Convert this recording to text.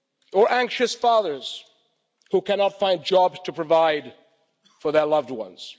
or anxious fathers who cannot find jobs to provide for their loved ones.